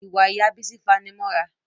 Ìwà ìyá Bísí fanimọ́ra